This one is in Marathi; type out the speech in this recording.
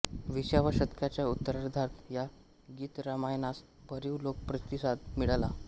विसाव्या शतकाच्या उत्तरार्धात या गीतरामायणास भरीव लोकप्रतिसाद मिळाला